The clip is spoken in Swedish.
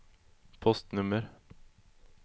postnummer